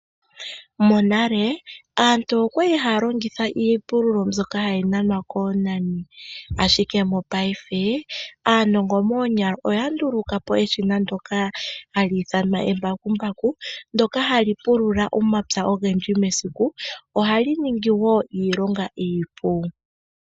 Monale aantu okwali haya longitha iipululo mbyoka hayi nanwa koonani, ashike mopaife aanongo moonyala oyanduluka po eshina ndoka hali ithanwa embakumbaku ndoka hali pulula omapya ogendji mesiku, ohali ningi wo iilonga iipu.